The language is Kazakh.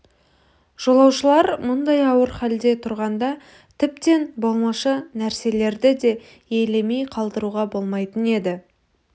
жолаушылар мұндай ауыр халде тұрғанда тіптен болмашы нәрселерді де елемей қалдыруға болмайтын еді